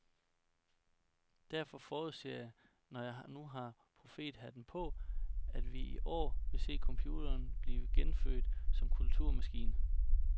Derfor forudser jeg, når jeg nu har profethatten på, at vi i år vil se computeren blive genfødt som kulturmaskine.